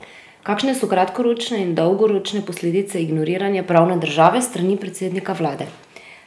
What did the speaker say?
Kakšne so kratkoročne in dolgoročne posledice ignoriranja pravne države s strani predsednika vlade?